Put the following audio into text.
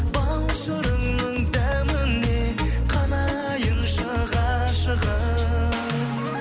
бал шырынның дәміне қанайыншы ғашығым